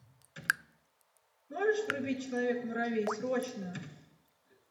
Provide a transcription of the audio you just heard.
можешь врубить человек муравей срочно